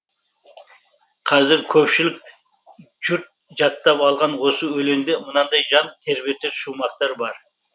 қазір көпшілік жұрт жаттап алған осы өлеңде мынадай жан тербетер шумақтар бар